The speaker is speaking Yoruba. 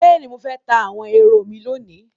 Bẹ́ẹ̀ni, mo fẹ́ ta àwọn ehoro mi lónìí